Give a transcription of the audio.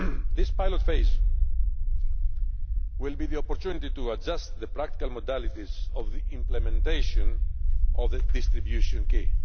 This pilot phase will give us the opportunity to adjust the practical modalities of the implementation of the distribution key.